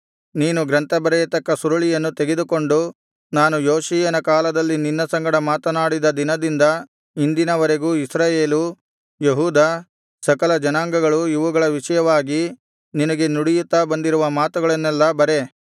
ನೀನು ಗ್ರಂಥ ಬರೆಯತಕ್ಕ ಸುರುಳಿಯನ್ನು ತೆಗೆದುಕೊಂಡು ನಾನು ಯೋಷೀಯನ ಕಾಲದಲ್ಲಿ ನಿನ್ನ ಸಂಗಡ ಮಾತನಾಡಿದ ದಿನದಿಂದ ಇಂದಿನವರೆಗೂ ಇಸ್ರಾಯೇಲು ಯೆಹೂದ ಸಕಲ ಜನಾಂಗಗಳು ಇವುಗಳ ವಿಷಯವಾಗಿ ನಿನಗೆ ನುಡಿಯುತ್ತಾ ಬಂದಿರುವ ಮಾತುಗಳನ್ನೆಲ್ಲಾ ಬರೆ